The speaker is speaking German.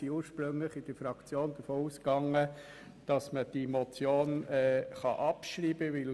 In der Fraktion gingen wir ursprünglich davon aus, dass man diese Motion abschreiben kann.